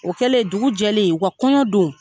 O kɛlen ,dugu jɛlen u ka kɔɲɔ don